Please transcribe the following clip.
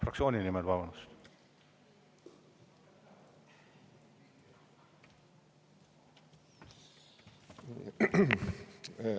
Fraktsiooni nimel, vabandust!